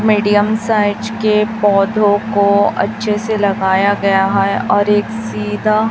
medium size के पौधों को अच्छे से लगाया गया है और एक सीधा--